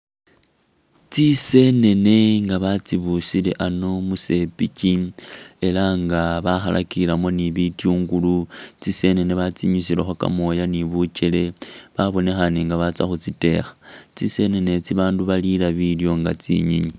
Tsi'senene nga batsibusile ano musepichi ela nga bakhalakilemu ni bityungulu ,tsi'senene batsi'nyusilekho kamooya ni butchele ,babonekhana nga batsa khu tsitekha , tsi'senene itsi babandu balila bilyo nga tsinyenyi